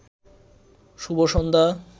শুভ সন্ধ্যা